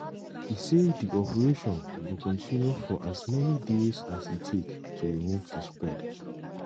e say di operation go "continue for as many days as e take to remove di spread".